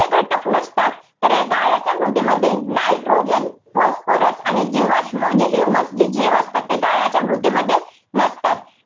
णते घटक नसतात. तर या गाळाच्या मृदेमध्ये nitrogen, phosphorus, आणि जीवाश्म म्हणजे humus जे जीव असतात गाळाच्या मृदेमध्ये नसतात.